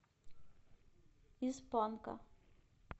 из панка